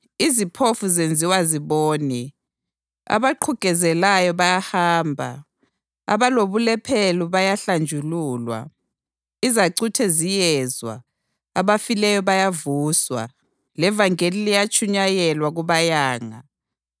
Iziphofu zenziwa zibone, abaqhugezelayo bayahamba, abalobulephero bayahlanjululwa, izacuthe ziyezwa, abafileyo bayavuswa, levangeli liyatshunyayelwa kubayanga.